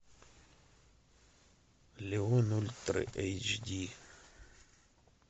леон ультра эйч ди